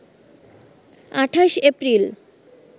২৮ April